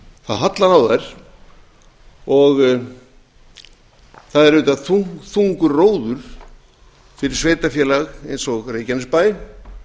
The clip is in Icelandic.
það hallar á þær og það er auðvitað þungur róður fyrir sveitarfélag eins og reykjanesbæ